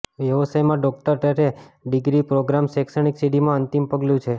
વ્યવસાયમાં doctorate degree programmes શૈક્ષણિક સીડીમાં અંતિમ પગલું છે